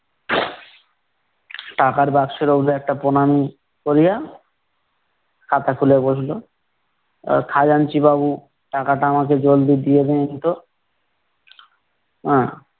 টাকার বাস্কের একটা প্রণাম করিয়া, খাতা খুলে বসলো । আহ খাজাঞ্চিবাবু, টাকাটা আমাকে জলদি দিয়ে দিন তো। আহ